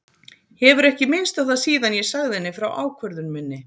Hefur ekki minnst á það síðan ég sagði henni frá ákvörðun minni.